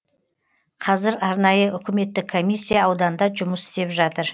қазір арнайы үкіметтік комиссия ауданда жұмыс істеп жатыр